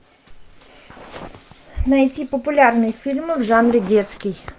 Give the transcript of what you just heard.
найти популярные фильмы в жанре детский